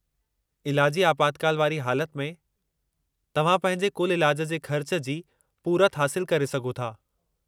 इलाजी आपातकाल वारी हालति में, तव्हां पंहिंजे कुलु इलाज जे ख़र्च जी पूरति हासिलु करे सघो था।